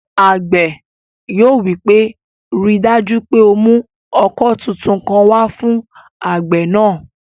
Àgbẹ̀ yóò wí pé, "ríi dájú pé o mú ọkọ́ tuntun kan wá fún àgbẹ̀ náà!"